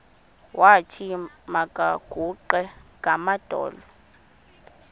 wathi makaguqe ngamadolo